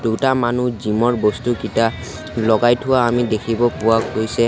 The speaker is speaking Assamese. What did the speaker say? দুটা মানুহ জিম ৰ বস্তুকিটা লগাই থোৱা আমি দেখিব পোৱা গৈছে।